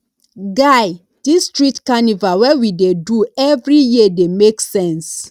guy dis street carnival wey we dey do every year dey make sense